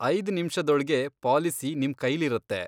ಐದ್ ನಿಮ್ಷದೊಳ್ಗೆ ಪಾಲಿಸಿ ನಿಮ್ ಕೈಲಿರತ್ತೆ.